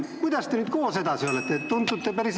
Kuidas te nüüd koos edasi olla saate?